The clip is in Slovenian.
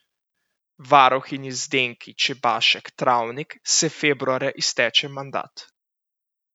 Varuhinji Zdenki Čebašek Travnik se februarja izteče mandat.